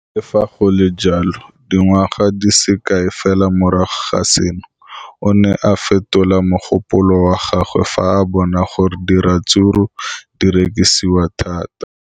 Le fa go le jalo, dingwaga di se kae fela morago ga seno, o ne a fetola mogopolo wa gagwe fa a bona gore diratsuru di rekisiwa thata.